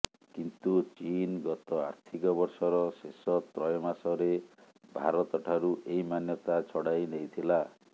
କିନ୍ତୁ ଚୀନ୍ ଗତ ଆର୍ଥିକ ବର୍ଷର ଶେଷ ତ୍ରୟମାସରେ ଭାରତଠାରୁ ଏହି ମାନ୍ୟତା ଛଡ଼ାଇ ନେଇଥିଲା